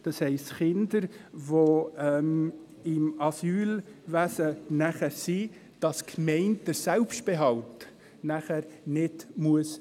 Das heisst, dass die Gemeinde den Selbstbehalt für Kinder, die nachher im Asylwesen sind, später nicht tragen muss.